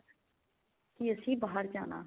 ਕੀ ਅਸੀਂ ਬਾਹਰ ਜਾਣਾ